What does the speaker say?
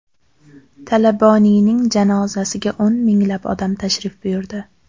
Talaboniyning janozasiga o‘n minglab odam tashrif buyurdi.